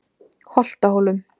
Holtahólum